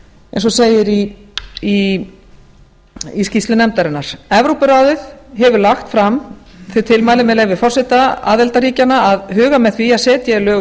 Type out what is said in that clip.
eins og segir í skýrslu nefndarinnar í skýrslu nefndarinnar evrópuráðið hefur lagt fram þau tilmæli með leyfi forseta aðildarríkjanna að huga með því að setja eigi lög